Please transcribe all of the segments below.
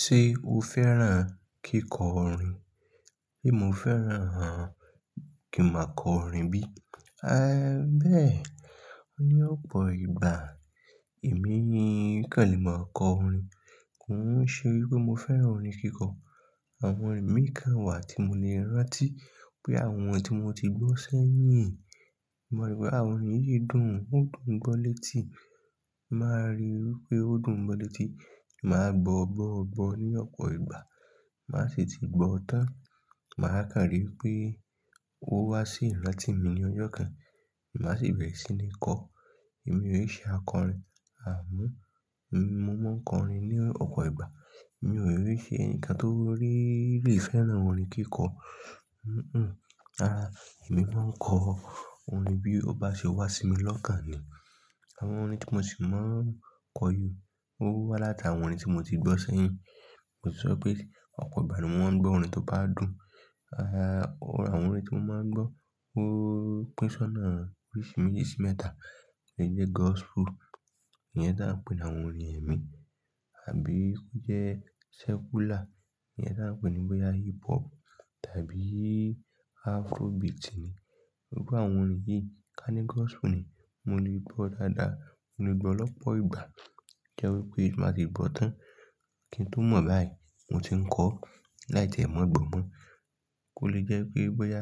Ṣé o fẹ́ràn kíkọ orin? Bí mo fẹ́ràn á, kí máa kọ orin bí? À bẹ́ẹ̀. Ní ọ̀pọ̀ ìgbà èmi ni, kàn lè máa kọ orin. Kò ń ṣe wí pé mo fẹ́ràn orin kíkọ. Àwọn orin mì i kàn wà tí mo le rántí pé àwọn tí mo ti gbọ́ sẹ́yìn. Mo rí pé ha orin yìí dùn, Ó dùn gbọ́ létí. Màá ríi wí pé ó dùn gbọ́ létí. Màá gbọ́ gbọ́ gbọ́ ní ọ̀pọ̀ ìgbà. Máa sì ti gbọ́ tán. Màá kàn rí i pé ó wá sí ìrántí mi ní ọjọ́ kan. Màá sì bẹ̀erẹ̀ sí ní kọ. Èmi ò í ṣe akọrin. À mú. Èmi mo máa ń kọ orin ní ọ̀pọ̀ ìgbà. Mi ò ni se nkan torí i pe i fẹ́ràn orin kíkọ. Hh-mm. Rárá, èmi máa ń kọ orin bí ó bá ṣe wá sí mi lọ́kàn ni. Àwọn orin tí mo sì máa ń kọ yìí, ó wá látàwọn orin tí mo ti gbọ́ sẹ́yìn. Ko sọ pé ọ̀pọ̀ ìgbà ni mo maa ń gbọ́ orin tó bá dùn. Ehn, orín àwọn orin tí mo máa ń gbọ́ ó pín sọ́nà orìsirisi mẹ́tà, lè jẹ́ gospel. Ìyẹn ta ń pè ní àwọn orin ẹ̀mí. Àbí kó jẹ́ secular. Ìyẹn ta ń pè ní bóyá hip hop tàbí Afrobeat ni. Gbogbo àwọn orin yìí, ká ní gospel ni, mo lè gbọ́ dáadáa. Mo lè gbọ́ lọ̀pọ̀ ìgbà. Jẹ́ wípé máa sì gbọ́ tán. Kí n tó mọ̀ báyìí, mo ti ń kọ láì tiẹ mọ̀ gbọ́ mọ́. Kò lè jẹ́ pé bóyá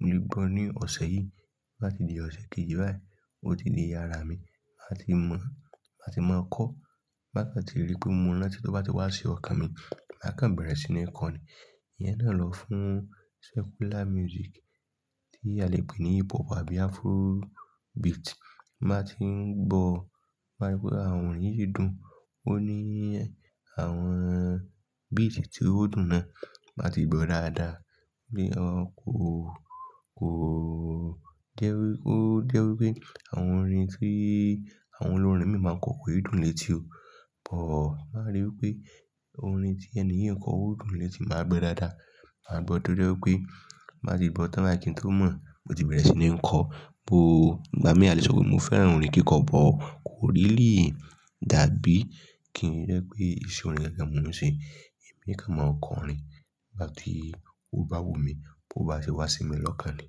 mo lè gbọ́ ní ọ̀sẹ̀ yìí. Bó bá ti di ọ̀sẹ̀ kejì báyìí, ó ti di àrá mi. Màá ti mọ̀. Màá ti mọ̀ kọ́. Bá kan tí rí pé mo rántí tó bá ti wá sí ọkàn mi, màá kàn bẹ̀rẹ̀ sí ní kọ ni. Ìyẹn náà lọ fún secular music tí a lè pè ní hip hop àbí Afrobeat. Bá ti ń gbọ́. Màá rí pé àwọn orin yìí dùn. Ó ní àwọn beat tí ó dùn náà. Màá ti gbọ́ dáadáa. Bí ó kó, kó jẹ́ wí, ó jẹ́ wípé àwọn orin tí àwọn olórin mìí maa n kọ, kii dùn létí o. Ọ̀, màá rí wípé orin tí ẹni yii n kọ ó dùn létí máa gbo dáadáa. Màá gbọ́ to je wipé má ti gbọ́ tán báyì kí n tó mọ̀, mo ti bẹ̀rẹ̀ sí ní ń kọ. Bó, ìgbà mií a lè sọ mo fẹ́ràn orin kíkọ, but kò really dabí kì í jẹ́ pé iṣe orin yẹn gan ni mo ń ṣe. Èmi kán mọ̀ n kọrin. Igbá ti, ó bá wù mí, bó bá ṣe wá sí mi lọ́kàn ni.